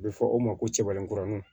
A bɛ fɔ o ma ko cɛbaraninkurunin